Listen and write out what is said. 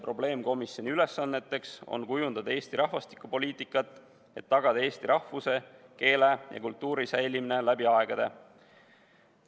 Probleemkomisjoni ülesanne on kujundada Eesti rahvastikupoliitikat, et tagada eesti rahvuse, keele ja kultuuri säilimine läbi aegade.